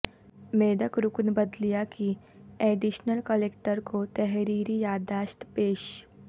میدک رکن بلدیہ کی ایڈیشنل کلکٹر کو تحریری یادداشت پیش